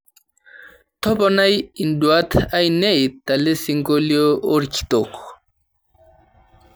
toponai induat ainei telesingolio orkitok